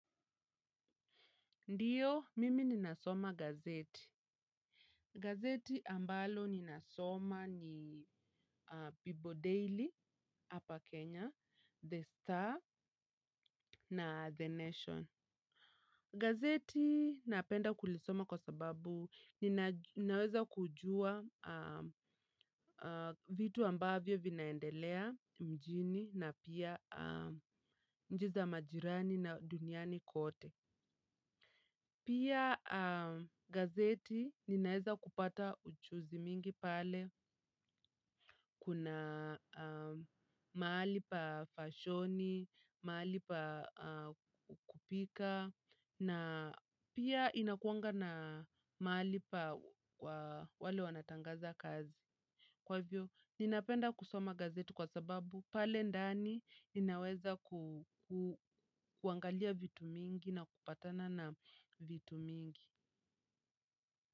Ndiyo, mimi ninasoma gazeti. Gazeti ambalo ninasoma ni people Daily hapa Kenya, The Star na The Nation. Gazeti napenda kulisoma kwa sababu naweza kujua vitu ambavyo vinaendelea mjini na pia nchi za majirani na duniani kote. Pia gazeti ninaeza kupata ujuzi mingi pale, kuna mahali pa fashoni, mahali pa kupika, na pia inakuanga na mahali pa wale wanatangaza kazi. Kwa hivyo, ninapenda kusoma gazeti kwa sababu pale ndani inaweza kuangalia vitu mingi na kupatana na vitu mingi.